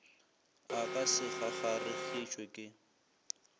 a ka se kgakgaregišwe ke